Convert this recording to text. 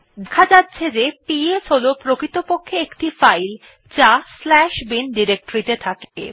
দেখা যাচ্ছে যে পিএস হল প্রকৃতপক্ষে একটি ফাইল যা bin ডিরেক্টরীতে থাকে